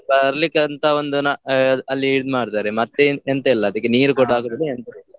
ಬರ್ಲಿಕ್ಕೆ ಅಂತ ಒಂದು ನಾ ಅಲ್ಲಿ ಇದು ಮಾಡ್ತಾರೆ, ಮತ್ತೆ ಎಂತ ಇಲ್ಲ ಅದಕ್ಕೆ ನೀರು ಕೂಡ ಹಾಕುದಿಲ್ಲ ಎಂತ ಇಲ್ಲ.